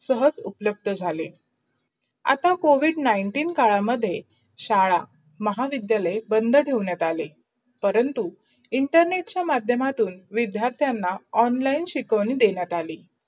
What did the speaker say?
सहस उपलब्ध झाले आहें. आता Covid nineteen मूढे शादा, महाविद्धलंय बंद ठेवण्यात आले. परंतु internet चा मधयमातुन् विधार्थना online शिकवून देण्यात आली.